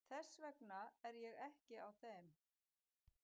Þess vegna er ég ekki á þeim.